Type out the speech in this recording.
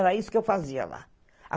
Era isso que eu fazia lá.